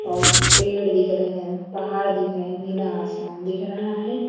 सामने पेड़ दिख रहें पहाड़ दिख रहा नीला आसमान दिख रहा है।